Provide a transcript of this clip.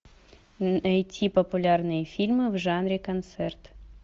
найти популярные фильмы в жанре концерт